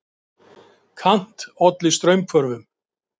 Kant olli straumhvörfum.